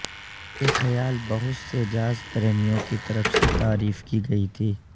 یہ خیال بہت سے جاز پریمیوں کی طرف سے تعریف کی گئی تھی